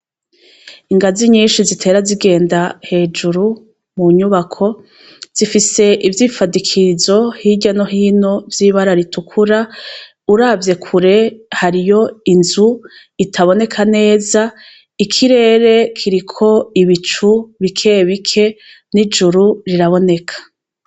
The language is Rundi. Ingazi nyinshi zitera zigenda hejuru mu nyubako, zifise ivyifadikirizo birya no hino vy'ibara ritukura uravye kure hariyo inzu itaboneka neza, ikirere kiriko ibicu bike bike n'ijuru riraboneka.